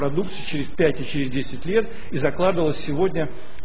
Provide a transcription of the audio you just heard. продукты через пять и через десять лет и закладывалась сегодня